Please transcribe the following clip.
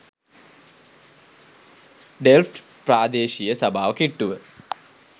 Delft ප්‍රාදේශීය සභාව කිට්ටුව.